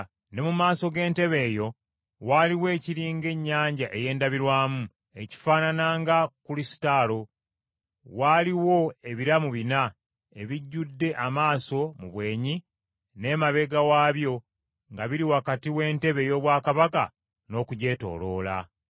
Ne mu maaso g’entebe eyo waaliwo ekiri ng’ennyanja ey’endabirwamu, ekifaanana nga kulusitalo. Waaliwo ebiramu bina ebijjudde amaaso mu bwenyi n’emabega waabyo nga biri wakati w’entebe ey’obwakabaka n’okugyetooloola.